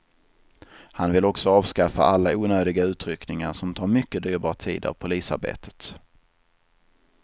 Han vill också avskaffa alla onödiga utryckningar som tar mycket dyrbar tid av polisarbetet.